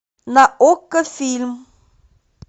на окко фильм